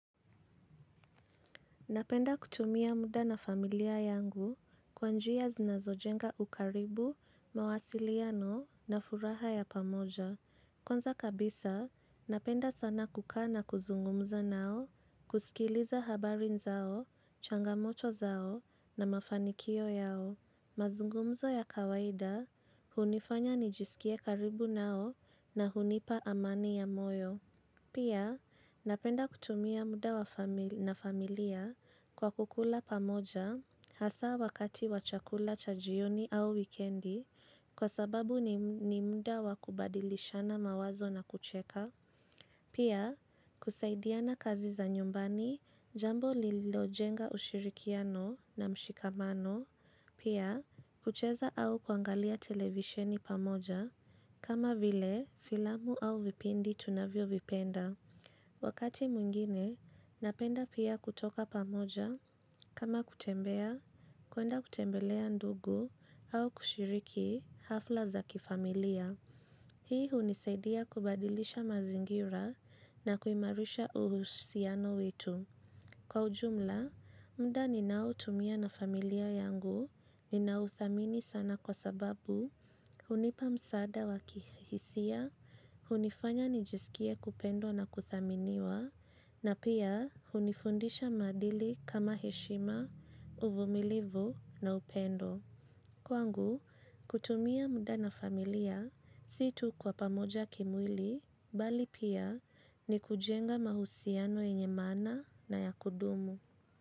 Napenda kutumia muda na familia yangu kwa njia zinazojenga ukaribu, mawasiliano na furaha ya pamoja. Kwanza kabisa, napenda sana kuka na kuzungumza nao, kusikiliza habari zao, changamoto zao na mafanikio yao. Mazungumzo ya kawaida, hunifanya nijisikie karibu nao na hunipa amani ya moyo. Pia, napenda kutumia muda na familia kwa kukula pamoja hasa wakati wa chakula cha jioni au wikendi kwa sababu ni muda wakubadilishana mawazo na kucheka. Pia, kusaidiana kazi za nyumbani jambo lilojenga ushirikiano na mshikamano. Pia, kucheza au kuangalia televisheni pamoja kama vile filamu au vipindi tunavyovipenda. Wakati mwingine, napenda pia kutoka pamoja kama kutembea, kuenda kutembelea ndugu au kushiriki hafla za kifamilia. Hii hunisaidia kubadilisha mazingira na kuimarisha uhusiano wetu. Kwa ujumla, mda ninao tumia na familia yangu ninauthamini sana kwa sababu. Hunipa msaada wakihisia, hunifanya nijisikie kupendo na kuthaminiwa, na pia hunifundisha madili kama heshima, uvumilivu na upendo. Kwangu, kutumia muda na familia, si tu kwa pamoja kimwili, bali pia ni kujenga mahusiano yenye mana na ya kudumu.